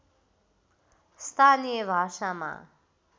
स्थानीय भाषामा